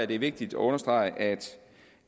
det er vigtigt at understrege at